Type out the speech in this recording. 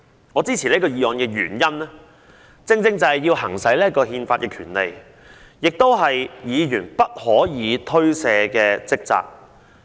我支持這項議案的原因，正正是要行使這項憲法權利，而這亦是議員不可推卸的職責。